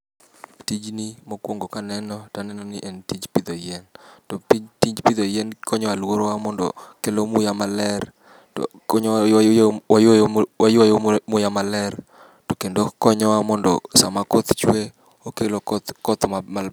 Tijni mokwongo kanene taneno ni en tij pidho yien. To tij tij pidho yien konyo aluorawa mondo kelo muya maler konyo waywe waywe wayweyo muya maler kendo konyowa mondo sama koth chwe okelo koth koth ma